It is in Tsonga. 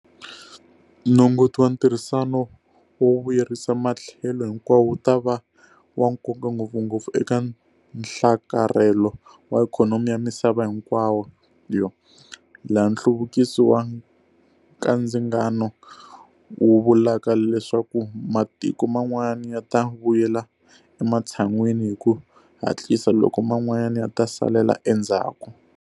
Nongoti wa ntirhisano wo vuyerisa matlhelo hinkwawo wu ta va wa nkoka ngopfungopfu eka nhlakarhelo wa ikhonomi ya misava hinkwayo, laha nhluvukiso wa nkandzingano wu vulaka leswaku matiko man'wana ya ta vuyela ematshan'wini hi ku hatlisa, loko man'wana ya ta salela endzhaku.